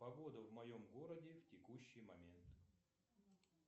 погода в моем городе в текущий момент